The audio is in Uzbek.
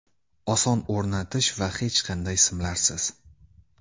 Oson o‘rnatish va hech qanday simlarsiz.